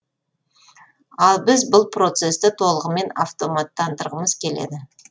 ал біз бұл процесті толығымен автоматтандырғымыз келеді